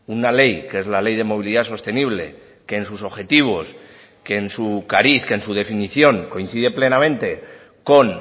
una ley que es la ley de movilidad sostenible que en sus objetivos que en su cariz que en su definición coincide plenamente con